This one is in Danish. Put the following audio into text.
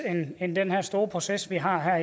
end den her store proces vi har